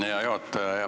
Hea juhataja!